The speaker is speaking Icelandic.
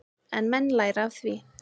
En menn læra af því.